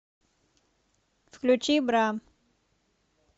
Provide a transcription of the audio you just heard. включи бра